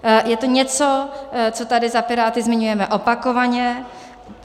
Je to něco, co tady za Piráty zmiňujeme opakovaně.